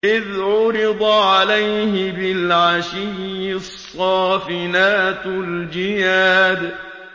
إِذْ عُرِضَ عَلَيْهِ بِالْعَشِيِّ الصَّافِنَاتُ الْجِيَادُ